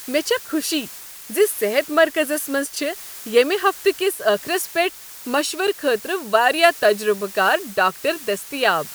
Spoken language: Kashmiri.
مےٚ چھےٚ خوشی ز صحت مرکزس منٛز چھ ییٚمہ ہفتہٕ کس ٲخرس پیٹھ مشورٕ خٲطرٕ وارِیاہ تجربہٕ کار ڈاکٹر دٔستیاب۔